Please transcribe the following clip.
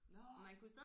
Nåh